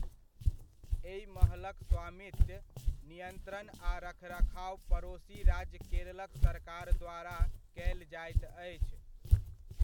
एहि महलक स्वामित्व, नियंत्रण आ रखरखाव पड़ोसी राज्य केरलक सरकार द्वारा कयल जाइत अछि।